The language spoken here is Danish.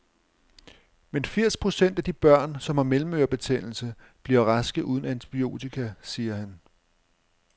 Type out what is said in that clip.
Men firs procent af de børn, som har mellemørebetændelse, bliver raske uden antibiotika, siger han.